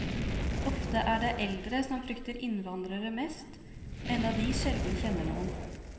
Ofte er det eldre som frykter innvandrere mest, enda de sjelden kjenner noen.